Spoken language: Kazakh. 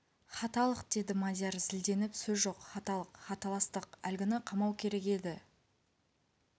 хаталық деді мадияр зілденіп сөз жоқ хаталық хаталастық әлгіні қамау керек еді